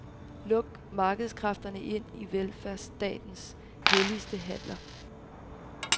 Luk markedsskræfterne ind i velfærdsstatens helligste haller.